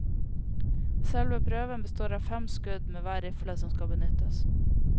Selve prøven består av fem skudd med hver rifle som skal benyttes.